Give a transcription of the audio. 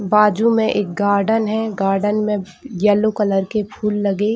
बाजू में एक गार्डन है। गार्डन में येल्लो कलर के फूल लगे--